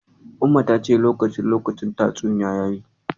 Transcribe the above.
Umma ta ce lokacin lokacin tatsuniya yayi.